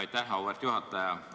Aitäh, auväärt juhataja!